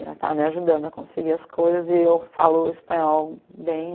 Ela estava me ajudando a conseguir as coisas e eu falo espanhol bem.